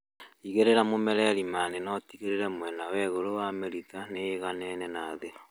Igĩrĩra mũmera irimainĩ na ũtigĩrĩre mwena wa igũrũ wa mĩrita nĩ ĩiganaine na thĩ